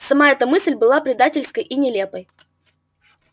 сама эта мысль была предательской и нелепой